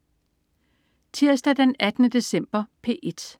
Tirsdag den 18. december - P1: